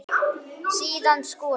Síðan skolað.